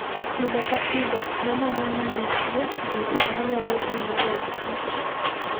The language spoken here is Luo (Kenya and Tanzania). Pile ka pile, non ane ni nitie gik manyalo hinyo odkich.